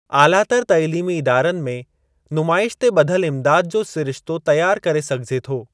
आलातर तइलीमी इदारनि में नुमाइश ते ॿधल इम्दाद जो सिरिश्तो तयारु करे सघिजे थो।